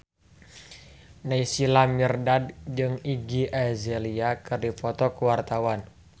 Naysila Mirdad jeung Iggy Azalea keur dipoto ku wartawan